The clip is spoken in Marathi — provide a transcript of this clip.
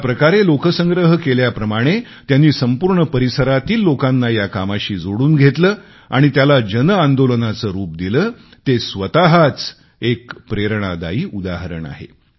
ज्या प्रकारे लोकसंग्रह केल्याप्रमाणे त्यांनी संपूर्ण परिसरातील लोकांना या कामाशी जोडून घेतलं आणि त्याला जनआंदोलनाचे रूप दिले ते एक प्रेरणादायी उदाहरण आहे